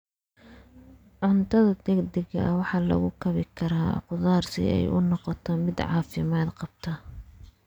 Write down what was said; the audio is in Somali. Cuntada degdega ah waxaa lagu kabi karaa khudaar si ay u noqoto mid caafimaad qabta.